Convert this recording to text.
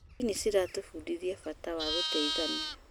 Ndini ĩratũbundithia bata wa gũteithania.